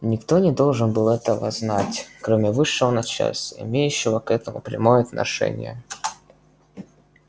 никто не должен был этого знать кроме высшего начальства имеющего к этому прямое отношение